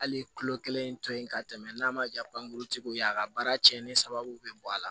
Hali kulo kelen to yen ka tɛmɛ n'a ma ja banguru tigiw ye a ka baara cɛnni sababu be bɔ a la